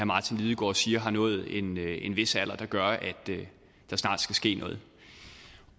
martin lidegaard siger har nået en vis alder der gør at der snart skal ske noget